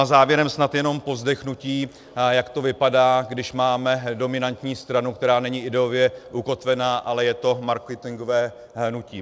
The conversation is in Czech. A závěrem snad jenom povzdechnutí, jak to vypadá, když máme dominantní stranu, která není ideově ukotvená, ale je to marketingové hnutí.